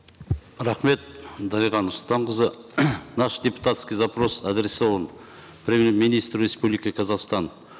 рахмет дариға нұрсұлтанқызы наш депутатский запрос адресован премьер министру республики казахстан